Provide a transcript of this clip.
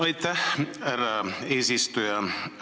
Aitäh, härra eesistuja!